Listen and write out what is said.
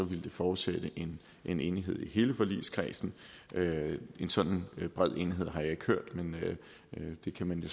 ville det forudsætte en enighed i hele forligskredsen en sådan bred enighed har jeg ikke hørt men det kan man jo